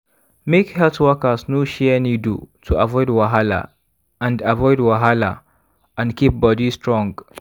make health workers no share needle to avoid wahala and avoid wahala and keep body strong.